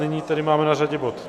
Nyní tedy máme na řadě bod